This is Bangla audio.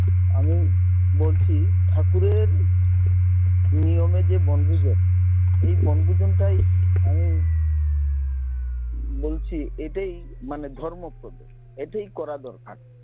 আমি বলছি ঠাকুরের নিয়মে যে বনভোজন এই বনভোজন তাই আমি বলছি এটাই মানে ধর্মপ্রদ, এটাই করা দরকার